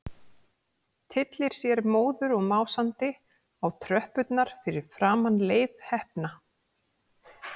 Tyllir sér móður og másandi á tröppurnar fyrir framan Leif heppna.